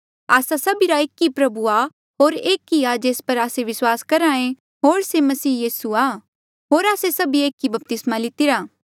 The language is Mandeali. आस्सा सभीरा एक ई प्रभु आ होर एक ई आ जेस पर आस्से विस्वास करहे होर से यीसू मसीह ही आ होर आस्से सभीए एक ई बपतिस्मा लितिरा